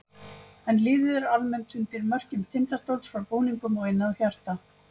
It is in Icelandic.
En liðið er almennt undir merkjum Tindastóls frá búningnum og inn að hjarta.